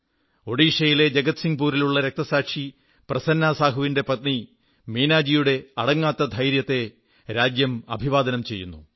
ഒഡീഷയിലെ ജഗത്സിംഗ്പുരിലുള്ള രക്തസാക്ഷി പ്രസന്നാ സാഹുവിന്റെ പത്നി മീനാജിയുടെ അടങ്ങാത്ത ധൈര്യത്തെ രാജ്യം അഭിവാദനം ചെയ്യുന്നു